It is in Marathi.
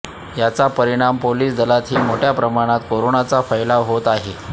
याचा परिणाम पोलीस दलातही मोठ्या प्रमाणात कोरोनाचा फैलाव होत आहे